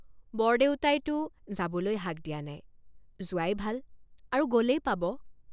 বৰদেউতাইতো যাবলৈ হাক দিয়া নাই যোৱাই ভাল আৰু গলেই পাব।